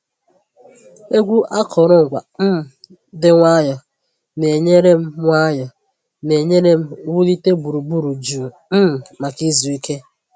Egwu akụrụngwa um dị nwayọọ na-enyere m nwayọọ na-enyere m wulite gburugburu jụụ um maka izu ike.